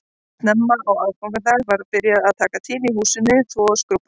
Snemma á aðfangadag var byrjað að taka til í húsinu, þvo og skrúbba